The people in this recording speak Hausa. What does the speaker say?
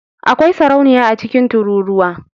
Akwai sarauniya a cikin tururuwa.